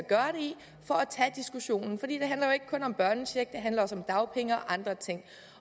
og at tage diskussionen i det handler jo ikke kun om børnecheck det handler også om dagpenge og andre ting